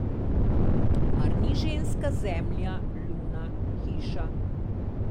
Mar ni ženska zemlja, luna, hiša?